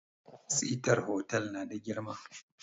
Sitar hotal na da girma